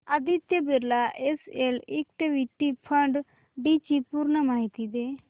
Aditya Birla SL equity fund D ची पूर्ण माहिती दे